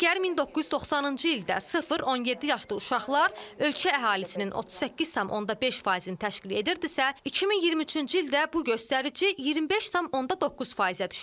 Əgər 1990-cı ildə sıf-17 yaşlı uşaqlar ölkə əhalisinin 38,5%-ni təşkil edirdisə, 2023-cü ildə bu göstərici 25,9%-ə düşüb.